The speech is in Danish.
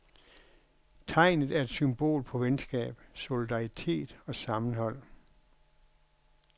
Tegnet er et symbol på venskab, solidaritet og sammenhold.